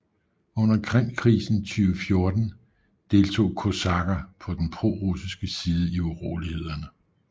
Under Krimkrisen 2014 deltog kosakker på den prorussiske side i urolighederne